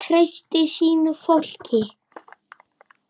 Hann treysti sínu fólki.